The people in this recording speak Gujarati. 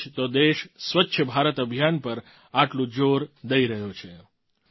આથી જ તો દેશ સ્વચ્છ ભારત અભિયાન પર આટલું જોર દઈ રહ્યો છે